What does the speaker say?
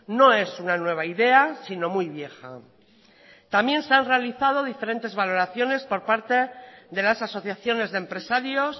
no es una nueva idea sino muy vieja también se han realizado diferentes valoraciones por parte de las asociaciones de empresarios